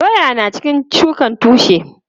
Doya na cikin shukan tushe.